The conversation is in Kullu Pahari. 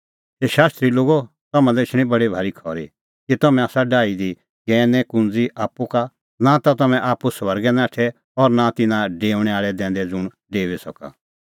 हे शास्त्री लोगो तम्हां लै एछणी बडी भारी खरी कि तम्हैं आसा डाही दी ज्ञैने कुंज़ी आप्पू का नां ता तम्हैं आप्पू स्वर्गै नाठै और नां तम्हैं तिन्नां डेऊणैं दैंदै ज़ुंण डेऊई सका